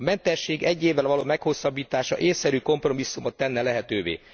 A mentesség egy évvel való meghosszabbítása ésszerű kompromisszumot tenne lehetővé.